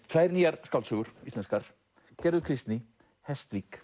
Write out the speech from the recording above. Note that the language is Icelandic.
tvær nýjar skáldsögur íslenskar gerður Kristný